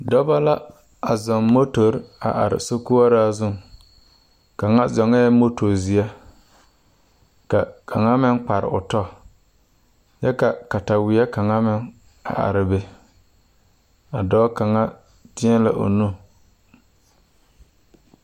Dɔba la a zɔŋ motori a are sorkɔɔraa zu kaŋa zɔŋɛɛ moto zeɛ ka kaŋa meŋ kpare o tɔ kyɛ la kataweɛ kaŋa meŋ are be a dɔɔ kaŋa teɛ la o nuu.